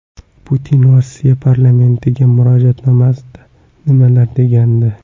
Putin Rossiya parlamentiga murojaatnomasida nimalar degandi?